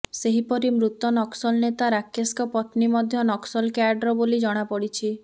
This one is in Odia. ସେହିପରି ମୃତ ନକ୍ସଲ୍ ନେତା ରାକେଶଙ୍କ ପତ୍ନୀ ମଧ୍ୟ ନକ୍ସଲ୍ କ୍ୟାଡର ବୋଲି ଜଣାପଡ଼ିଛି